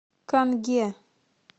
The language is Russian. канге